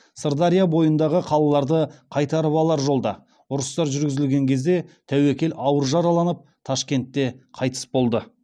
сырдария бойындағы қалаларды қайтарып алар жолда ұрыстар жүргізілген кезде тәуекел ауыр жараланып ташкентте қайтыс болды